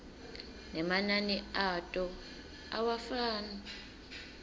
nemanani ato awafani